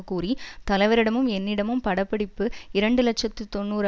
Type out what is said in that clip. கூறி தலைவரிடமும் என்னிடமும் படப்பிடிப்பு இரண்டு இலட்சத்தி தொன்னூறு